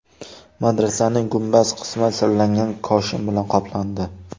Madrasaning gumbaz qismi sirlangan koshin bilan qoplandi.